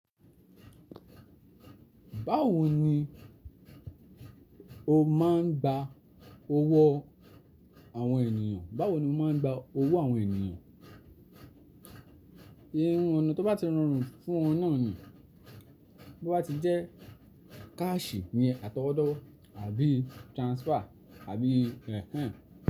Báwo ni o máa ń gba owó àwọn ènìyàn? Báwo ni o máa ń gba owó àwọn ènìyàn? Hmmm, ọ̀nà tó bá ti rọrùn fún won naa ni, bó bá ti jẹ́ káàṣì, iyen àtọwọ́dọ́ àbí transfer àbí.